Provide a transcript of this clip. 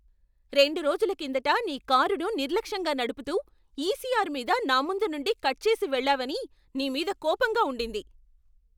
రెండు రోజుల కిందట నీ కారును నిర్లక్ష్యంగా నడుపుతూ, ఈసిఆర్ మీద నాముందు నుండి కట్ చేసి వెళ్ళావని నీ మీద కోపంగా ఉండింది.